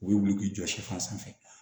U bɛ wuli k'i jɔ sifan sanfɛ